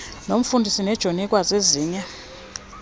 nomfundisi nejoni ikwazezinye